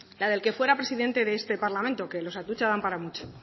la del que fuera presidente de este parlamento que los atutxa dan para mucho